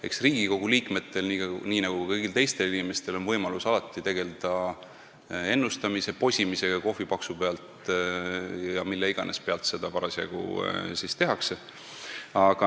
Eks Riigikogu liikmetel nii nagu kõigil teistel inimestel on alati võimalus tegeleda posimisega, ennustamisega kohvipaksu pealt või mille iganes pealt seda parasjagu teha tahetakse.